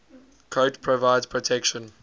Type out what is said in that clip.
coat provides protection